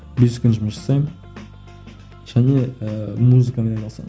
бес күн жұмыс жасаймын және ііі музыкамен айналысамын